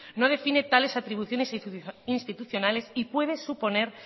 no define tales atribuciones institucionales y puede suponer